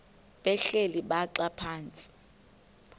behleli bhaxa phantsi